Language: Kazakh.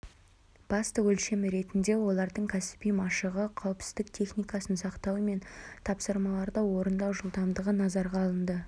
басты өлшем ретінде олардың кәсіби машығы қауіпсіздік техникасын сақтауы мен тапсырмаларды орындау жылдамдығы назарға алынды